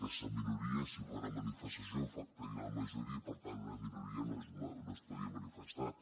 aquesta minoria si fa una manifestació afectaria la majoria i per tant una minoria no es podria manifestar